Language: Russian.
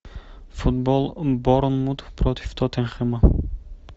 футбол борнмут против тоттенхэма